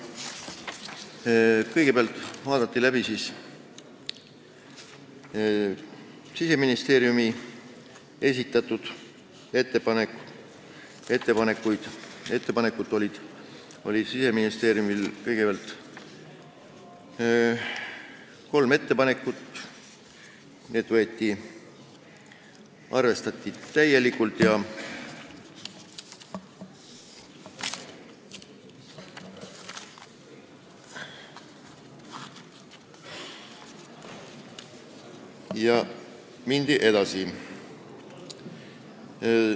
Kõigepealt vaadati läbi Siseministeeriumi esitatud kolm ettepanekut, neid arvestati täielikult ja mindi edasi.